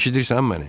Eşidirsən məni?